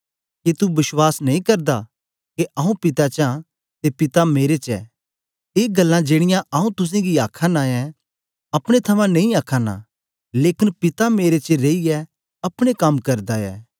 के तू बश्वास नेई करदा के आऊँ पिता च आं ते पिता मेरे च ऐ ए गल्लां जेड़ीयां आऊँ तुसेंगी आखा नां ऐं अपने थमां नेई आखा नां लेकन पिता मेरे च रेईयै अपने कम करदा ऐ